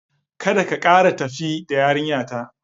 Kada ka kara tafi da yarinyata!